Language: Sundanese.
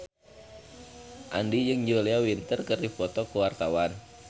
Andien jeung Julia Winter keur dipoto ku wartawan